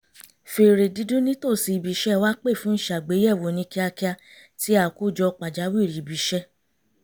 fèrè dídún nítòsí ibi iṣẹ́ wa pè fún ìṣàgbéyẹ̀wò oníkíákíá ti àkójọ pàjáwìrì ibi iṣẹ́